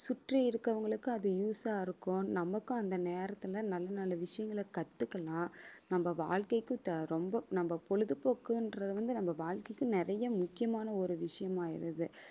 சுற்றி இருக்கவங்களுக்கு அது use ஆ இருக்கும் நமக்கும் அந்த நேரத்துல நல்ல நல்ல விஷயங்களை கத்துக்கலாம் நம்ம வாழ்க்கைக்கு த~ ரொம்ப நம்ம பொழுதுபோக்குன்றது வந்து நம்ம வாழ்க்கைக்கு நிறைய முக்கியமான ஒரு விஷயமாயிடுது